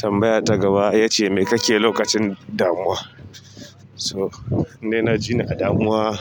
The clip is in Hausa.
Tambaya ta gaba ita ce me kake lokacin damuwa? So in dai na ji ni a damuwa.